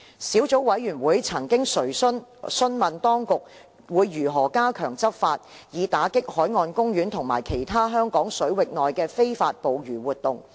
小組委員會曾詢問當局如何加強執法，以打擊海岸公園及其他香港水域內的非法捕魚活動。